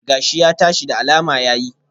Gashi ya tashi, da alama ya yi